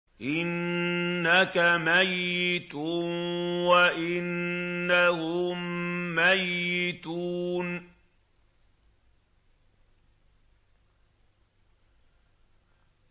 إِنَّكَ مَيِّتٌ وَإِنَّهُم مَّيِّتُونَ